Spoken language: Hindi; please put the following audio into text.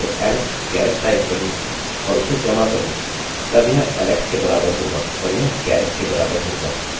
हमारी क्वेरी केवल एक उत्तर देगी क्योंकि इस समय हमारे पास केवल alex garrett नामक एक ही आदमी है